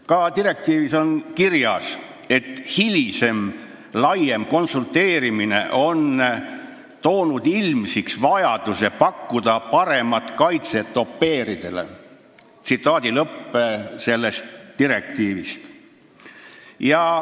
Ka direktiivis on kirjas, et hilisem laiem konsulteerimine on toonud ilmsiks vajaduse pakkuda au pair'idele paremat kaitset.